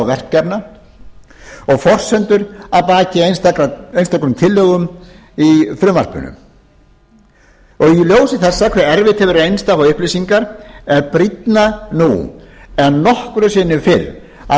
verkefna og forsendur að baki einstökum tillögum í frumvarpinu í ljósi þess hve erfitt hefur reynst að fá upplýsingar er brýnna nú en nokkru sinni fyrr að